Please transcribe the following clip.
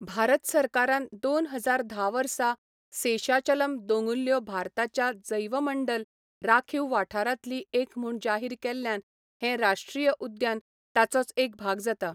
भारत सरकारान दोन हजार धा वर्सा सेशाचलम दोंगुल्ल्यो भारताच्या जैवमंडल राखीव वाठारांतली एक म्हूण जाहीर केल्ल्यान हें राश्ट्रीय उद्यान ताचोच एक भाग जाता.